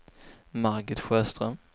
Margit Sjöström